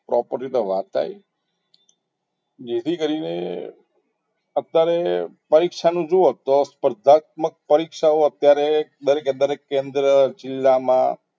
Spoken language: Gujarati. Property વાત આવી જેથી કરીને અત્યારે પરીક્ષા નું જોવો તો સ્પર્ધાત્મક પરીક્ષાએ દરેકે દરેક કેન્દ્રમાં જિલ્લામાં